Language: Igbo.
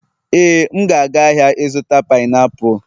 éè, m ga-aga ahịa ịzụta painiapulu